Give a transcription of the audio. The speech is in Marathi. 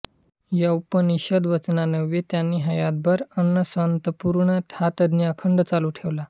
या उपनिषद वचनान्वये त्यांनी हयातभर अन्नसंतर्पण हा यज्ञ अखंड चालू ठेवला